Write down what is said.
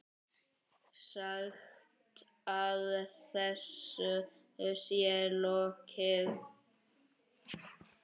Sagt að þessu sé lokið.